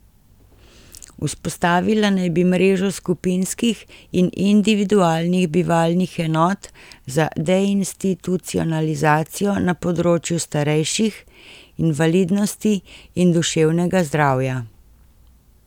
Vzpostavila naj bi mrežo skupinskih in individualnih bivalnih enot za deinstitucionalizacijo na področju starejših, invalidnosti in duševnega zdravja.